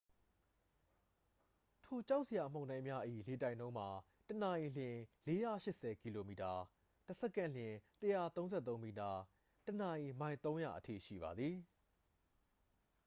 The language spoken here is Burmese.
ထိုကြောက်စရာမုန်တိုင်းများ၏လေတိုက်နှုန်းမှာ တစ်နာရီလျှင် ၄၈၀ ကီလိုမီတာ တစ်စက္ကန့်လျှင် ၁၃၃ မီတာ ၊ တစ်နာရီ မိုင် ၃၀၀ အထိရှိပါသည်။